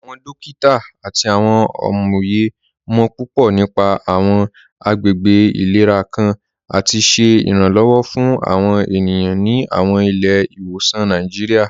Awọn dòkita àti awọn amóyè mọ̀ púpọ̀ nípà awọn àgbègbè ilẹ̀rà kàn àti ṣẹ iranlọ́wọ̀ fún awọn ènìyàn ní awọn ilẹ̀-ìwọsan Nàìjíríà.